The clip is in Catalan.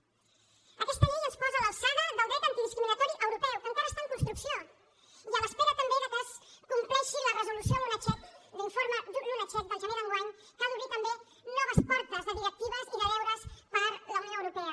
aquesta llei ens posa a l’alçada del dret antidiscriminatori europeu que encara està en construcció i a l’espera també que es compleixi la resolució lunacek l’informe lunacek del gener d’enguany que ha d’obrir també noves portes de directives i de deures per la unió europea